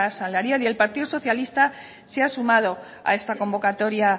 salarial y el partido socialista se ha sumado a esta convocatoria